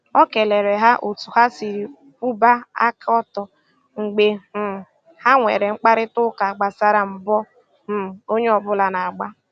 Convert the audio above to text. O kelere ha otu ha siri kwụba aka ọtọ mgbe um ha nwere mkparịtaụka gbasara mbọ um onye ọbụla na - agba